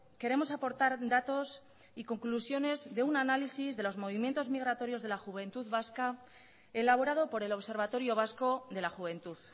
queremos aportar datos y conclusiones de un análisis de los movimientos migratorios de la juventud vasca elaborado por el observatorio vasco de la juventud